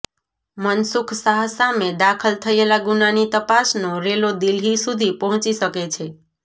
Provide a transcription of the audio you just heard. મનસુખ શાહ સામે દાખલ થયેલા ગુનાની તપાસનો રેલો દિલ્હી સુધી પહોંચી શકે છે